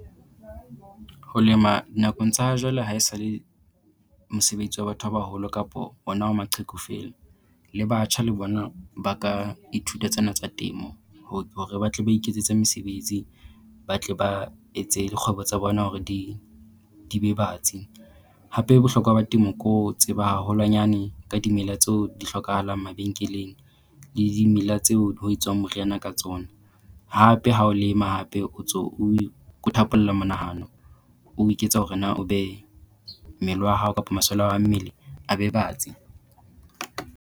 Ho lema nakong tsa ha jwale ha e sa le mosebetsi wa batho ba baholo kapo ona wa maqheku feela, le batjha le bona ba ka ithuta tsena tsa temo hore ba tle ba iketsetse mesebetsi, ba tle ba etse dikgwebo tsa bona hore di di be batsi. Hape Bohlokwa ba temo ke ho tseba haholwanyane ka dimela tseo di hlokahalang mabenkeleng le dimela tseo ho etswang moriana ka tsona. Hape ha o lema hape o ntso oe o thapolla monahano o hore na o be mmele wa hao kapa masole a hao a mmele a be batsi.